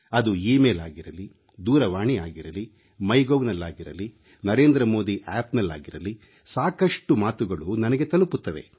ಅದು email ಆಗಿರಲಿ ದೂರವಾಣಿ ಆಗಿರಲಿ ಮೈ ಗೌ ನಲ್ಲಾಗಿರಲಿ ನರೇಂದ್ರ ಮೋದಿ ಆಪ್ನಲ್ಲಾಗಿರಲಿ ಸಾಕಷ್ಟು ಮಾತುಗಳು ನನಗೆ ತಲುಪುತ್ತವೆ